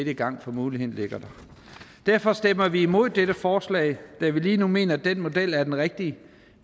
i gang for muligheden ligger der derfor stemmer vi imod dette forslag da vi lige nu mener at den model er den rigtige